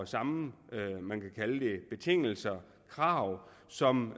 samme betingelser og krav som